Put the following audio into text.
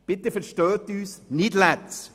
Bitte verstehen Sie uns nicht falsch: